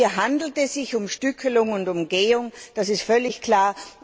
Hier handelt es sich um Stückelung und Umgehung, das ist völlig klar.